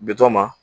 Bitɔn ma